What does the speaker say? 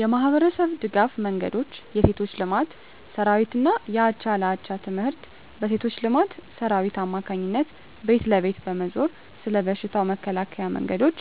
የማኅበረሰብ ድጋፍ መንገዶች የሴቶች ልማት ሠራዊትና የአቻ ለአቻ ትምህርት: በሴቶች ልማት ሠራዊት አማካኝነት ቤት ለቤት በመዞር ስለ በሽታው መከላከያ መንገዶች